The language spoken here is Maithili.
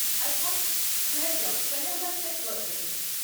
अच्छा, ठहरि जाउ कने हमरा चेक करय दिअ।